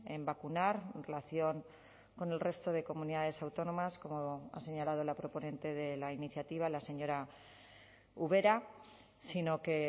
en vacunar en relación con el resto de comunidades autónomas como ha señalado la proponente de la iniciativa la señora ubera sino que